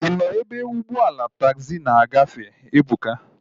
Ị nọ ebe ụgbọala taagzi na-agafe? Ebuka